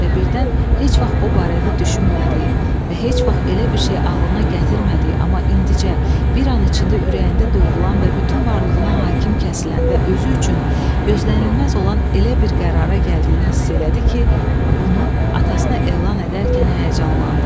Və birdən heç vaxt o barədə düşünmədiyi və heç vaxt elə bir şey ağlına gətirmədiyi, amma indicə bir an içində ürəyində doğulan və bütün varlığına hakim kəsilən və özü üçün gözlənilməz olan elə bir qərara gəldiyini hiss elədi ki, bunu atasına elan edərkən həyəcanlandı.